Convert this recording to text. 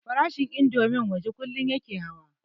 Farashin indomin waje kullum yake hawa